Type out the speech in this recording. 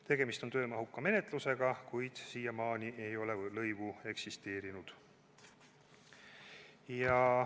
Tegemist on töömahuka menetlusega, kuid siiamaani ei ole lõivu eksisteerinud.